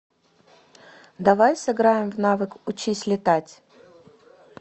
давай сыграем в навык учись летать